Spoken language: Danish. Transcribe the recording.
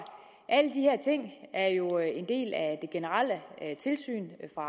alle de her ting er jo en del af det generelle tilsyn fra